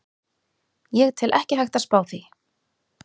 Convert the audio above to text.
Ég tel ekki hægt að spá því.